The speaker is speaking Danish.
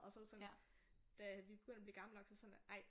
Og så var det sådan da vi begyndte at blive gamle nok så var det sådan ej